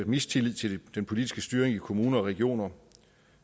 mistillid til den politiske styring i kommuner og regioner